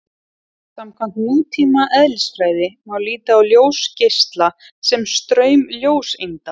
Samkvæmt nútíma eðlisfræði má líta á ljósgeisla sem straum ljóseinda.